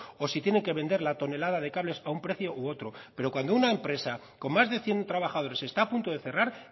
o si tienen que vender la tonelada de cables a un precio u otro pero cuando una empresa con más de cien trabajadores está a punto de cerrar